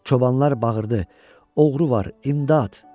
Çobanlar bağırdı: Oğru var, imdad!